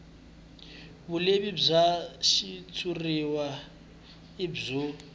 vulehi bya xitshuriwa i byo